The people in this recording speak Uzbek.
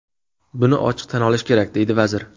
Buni ochiq tan olish kerak”, deydi vazir.